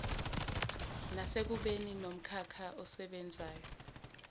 nasekubeni nomkhakha osebenzela